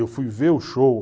Eu fui ver o show.